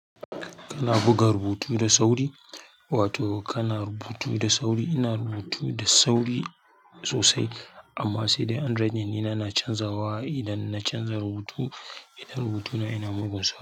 Kana buga rubutu da sauri, wato kana rubutu da sauri. Ina rubutu da sauri sosai, amma sai dai handwriting ɗina yana canjawa idan na canza rubutu. Idan rubutuna yana mugun sauri.